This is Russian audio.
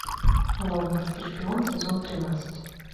лондонский шпион сезон тринадцать